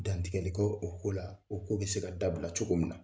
Dantigɛli kɛ o ko la o ko bɛ se ka dabila cogo min na